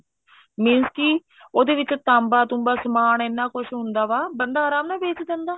means ਕੀ ਉਹਦੇ ਵਿੱਚ ਤਾਂਬਾ ਤੂੰਬਾ ਸਮਾਨ ਇੰਨਾ ਕੁੱਛ ਹੁੰਦਾ ਵਾ ਬੰਦਾ ਆਰਾਮ ਨਾਲ ਵੇਚ ਦਿੰਦਾ